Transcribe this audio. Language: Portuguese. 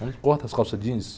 Onde corta as calça jeans?